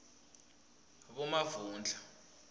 bomavundla